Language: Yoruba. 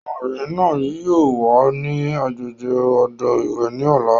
Ọmọbìnrin náà yìí ó wà ní agbègbè odò ìwẹ̀ ni ọ̀la.